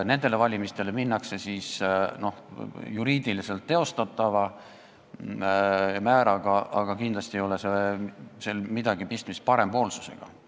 Nendele valimistele minnakse juriidiliselt teostatava määraga, aga kindlasti ei ole sel midagi pistmist parempoolsusega.